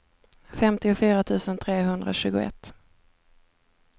femtiofyra tusen trehundratjugoett